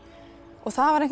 það var einhvern